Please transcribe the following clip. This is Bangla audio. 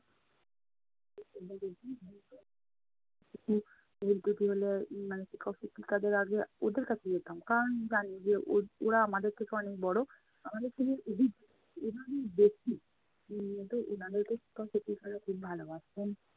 কিছু ভুলত্রুটি হলে মানে শিক্ষক শিক্ষিকাদের আগে ওদের কাছে যেতাম, কারণ জানি যে ও~ ওরা আমাদের থেকে অনেক বড় আমাদের থেকে অভিজ্ঞ, এভাবেই দেখি। উম তো উনাদেরকে শিক্ষক শিক্ষিকারা খুব ভালোবাসতেন।